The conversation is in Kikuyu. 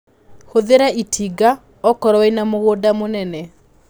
Hũthĩra itinga okorwo wĩna mũgunda mũnene.